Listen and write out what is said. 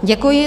Děkuji.